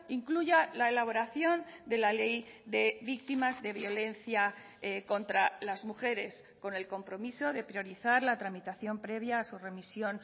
incluya la elaboración de la ley de víctimas de violencia contra las mujeres con el compromiso de priorizar la tramitación previa a su remisión